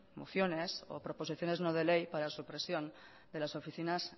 mociones o proposiciones no de ley para supresión de las oficinas